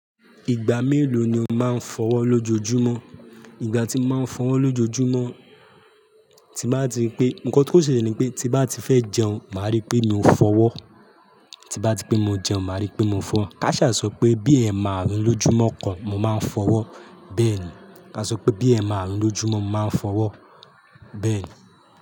Ìgbà mélòó ni o máa ń fọwọ́ lójoojúmọ́? Ìgbà tí mo máa ń fọwọ́ lójoojúmọ́, tí bá ti pé, nǹkan tó ṣe ni pé tí bá ti fẹ́ jẹun, màá rí pé mò fọwọ́. Tí bá ti pé mo jẹun, màá rí pé mo fọ. Káṣà sọ pé bí èèmà àrùn lójúmọ́ kan, mo máa fọwọ́ bẹ́ẹ̀ ni. Ká sọ pé bí èèmààrùn lójúmọ́, mo máa fọwọ́ bẹ́ẹ̀ ni.